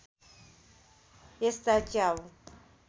यस्ता च्याउ